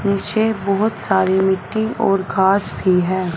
मुझे बहोत सारी मिट्टी और घास भी है।